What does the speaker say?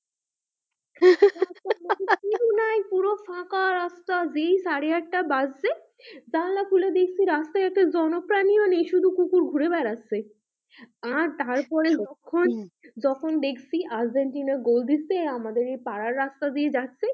যেই সাড়ে আটটা বাজছে জানালা খুলে দেখছি রাস্তায় একটা জনপ্রাণী ও নেই শুধু কুকুর ঘুরে বেড়াচ্ছে আর তারপরে সত্যি যখন যখন দেখছি আর্জেন্টিনা গোল দিচ্ছে আমাদের এই পাড়ার রাস্তা দিয়ে যাচ্ছে,